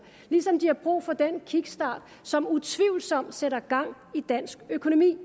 ligesom de har brug for den kickstart som utvivlsomt sætter gang i dansk økonomi det